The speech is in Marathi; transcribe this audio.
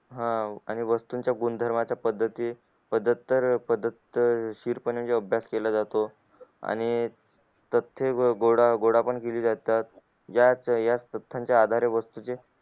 आणि वस्तू च्या गुणधर्मा च्या पद्धती सतत अभ्यास केला जातो आणि प्रत्येक असतात या वस्तू च्या आधारे वस्तू चे